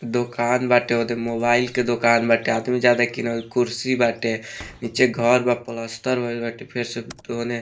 दोकान बाटे होदे मोबाइल के दुकान बाटे आदमी ज्यादा किनल कुर्सी बाटे नीचे घर बा प्लास्टर भइल बाटे फिर से त ओने --